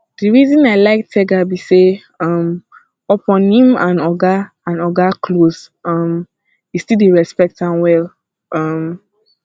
the reason i like tega be say um upon im and oga and oga close um e still dey respect am well um